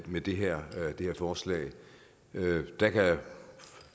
med det her forslag der kan